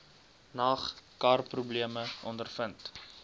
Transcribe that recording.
nag karprobleme ondervind